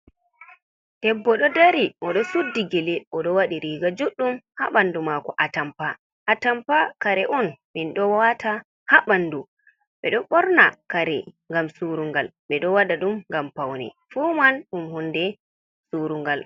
debbo do dari , odo suddi gele, odo wadi riga juddum ha bandu mako. Atampa, atampa kare on min do wata ha bandu ,bedo borna kare ngam surungal ,be do wada dum ngam Paune, fu man dum hunde surungal.